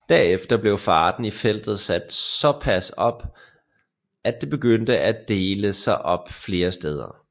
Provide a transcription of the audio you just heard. Derefter blev farten i feltet sat såpas op at det begyndte at dele sig op flere steder